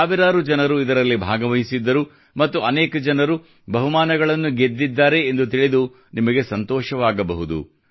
ಸಾವಿರಾರು ಜನರು ಇದರಲ್ಲಿ ಭಾಗವಹಿಸಿದ್ದರು ಮತ್ತು ಅನೇಕ ಜನರು ಬಹುಮಾನಗಳನ್ನು ಗೆದ್ದಿದ್ದಾರೆ ಎಂದು ತಿಳಿದು ನಿಮಗೆ ಸಂತೋಷವಾಗಬಹುದ